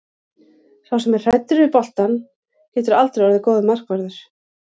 Sá sem er hræddur við boltann getur aldrei orðið góður markvörður.